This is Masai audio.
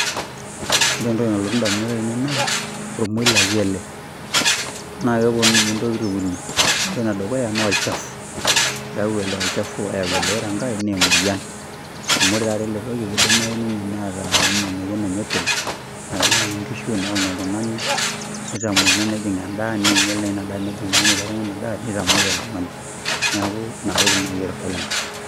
Ore entoki nalotu ndamunot ainei naa ormoilaki ele naake eponu nye ntokitin uni. Ore ene dukuya naa olchafu, keyau ele olchafu oyau ele, ore enkae naa emoyian amu kore taata ele toki kidimayu ninye neeta nye emoyian enye openy naa enowony nkishu, enewony oltung'ani nitamuoi naa enejing' endaa ninyal naa ina daa nejing' enenya ele tung'ani ina daa nitamuoi oltung'ani. Neeku inatoki nai aitadol ena.